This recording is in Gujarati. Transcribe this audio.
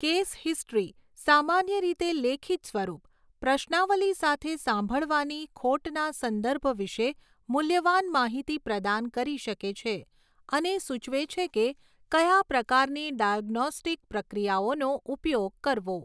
કેસ હિસ્ટ્રી, સામાન્ય રીતે લેખિત સ્વરૂપ, પ્રશ્નાવલી સાથે સાંભળવાની ખોટના સંદર્ભ વિશે મૂલ્યવાન માહિતી પ્રદાન કરી શકે છે અને સૂચવે છે કે કયા પ્રકારની ડાયગ્નોસ્ટિક પ્રક્રિયાઓનો ઉપયોગ કરવો.